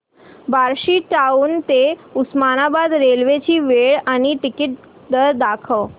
Barshi town ते Osmanabad railway ची वेळ आणि तिकीट दर दाखव